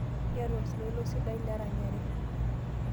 Iyata oltoilo sidai leranyare.